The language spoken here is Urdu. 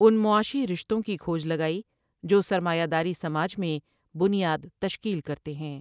ان معا شی رشتو ں کی کھوج لگائی جو سر مایہ داری سماج میں بنیاد تشکیل کرتے ہیں ۔